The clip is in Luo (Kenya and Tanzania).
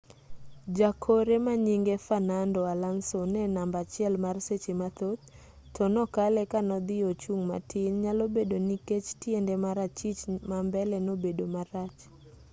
jakore manyinge fernando alonso ne namba achiel mar seche mathoth to nokale kanodhi ochung' matin nyalobedo nikech tiende mar achich mambele nobedo marach